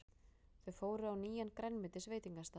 Þau fóru á nýjan grænmetisveitingastað.